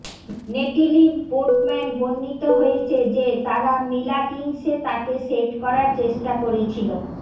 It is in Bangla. নেটিলি পোর্টম্যান বর্ণিত হয়েছে যে তারা মিলা কিংসে তাকে সেট করার চেষ্টা করেছিল